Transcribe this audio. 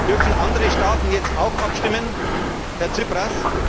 Dürfen andere Staaten jetzt auch abstimmen, Herr Tsipras?